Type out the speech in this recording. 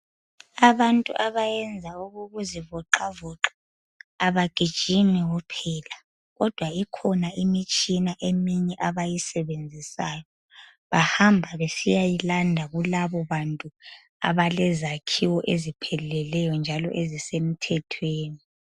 Abantu abayenza okokuzivoxavoxa abagijimi kuphela kodwa kukhona eminye imitshina abayisebenzisayo abayilanda kubantu abalezakhiwo ezipheleleyo njalo ezisemthethweni .